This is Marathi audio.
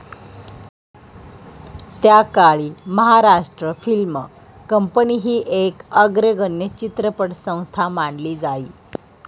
त्याकाळी महाराष्ट्र फिल्म कंपनी ही एक अग्रगण्य चित्रपटसंस्था मानली जाई.